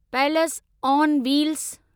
पैलस on wheels